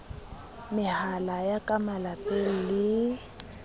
mehala ya ka malapeng le